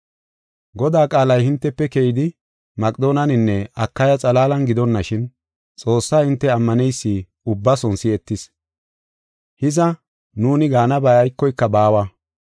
Godaa qaalay hintefe keyidi, Maqedooneninne Akaya xalaalan gidonashin, Xoossaa hinte ammaneysi ubbason si7etis. Hiza, nuuni gaanabay aykoyka baawa.